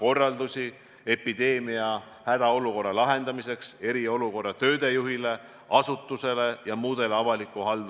Ja selle paanika ärahoidmiseks kõige halvem meetod on manitseda, et ärge paanitsege.